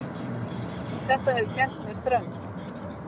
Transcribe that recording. Þetta hefur kennt mér þrenn